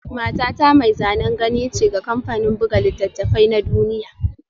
Matata mai zanen gani ce ga kamfanin buga littattafai na duniya